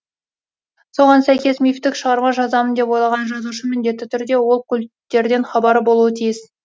соған сәйкес мифтік шығарма жазамын деп ойлаған жазушы міндетті түрде ол культтерден хабары болуы тиіс